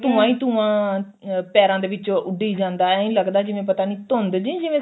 ਉਹ ਧੁੰਆ ਹੀ ਧੁੰਆ ਅਹ ਪੈਰਾ ਦੇ ਵਿੱਚੋ ਉੱਡੀ ਜਾਂਦਾ ਐਈ ਲੱਗਦਾ ਏ ਜਿਵੇਂ ਪਤਾ ਨਹੀਂ ਧੁੰਦ ਜੀ ਜਿਵੇਂ ਸਰਦੀ